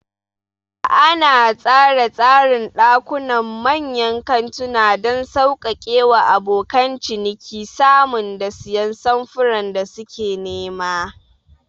Ana tsara tsarin ɗakunan manyan kantuna don sauƙaƙe wa abokan ciniki samun da siyan samfuran da suke nema.